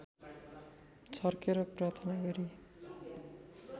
छर्केर प्रार्थना गरी